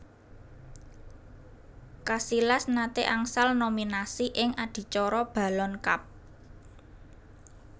Casillas nate angsal nominasi ing adicara Ballon Cup